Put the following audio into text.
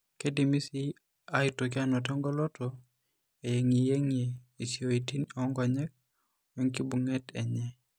Keidim sii aitoki aanoto engoloto eyeng'iyeng'ie esioten oonkonyek oenkibung'et enye.